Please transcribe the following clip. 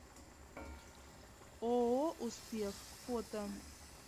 ооо успех фото